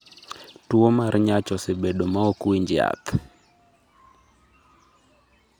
Tuwo mar nyach osebado ma ok winj yath